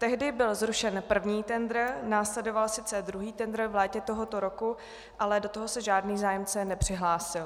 Tehdy byl zrušen první tendr, následoval sice druhý tendr v létě tohoto roku, ale do toho se žádný zájemce nepřihlásil.